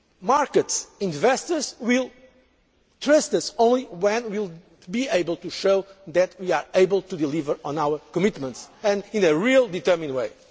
Market investors will trust us only when we can show that we are able to deliver on our commitments and in a real determined